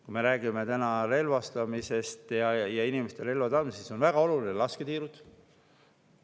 Kui me räägime relvastamisest ja inimeste puhul relva saamisest, siis on lasketiirud väga olulised.